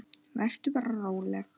Vertu bara róleg.